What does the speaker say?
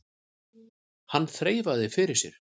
Hann þreifaði fyrir sér.